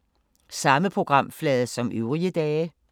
Samme programflade som øvrige dage